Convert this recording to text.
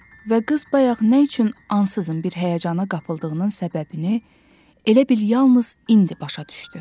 Və qız bayaq nə üçün ansızın bir həyəcana qapıldığının səbəbini elə bil yalnız indi başa düşdü.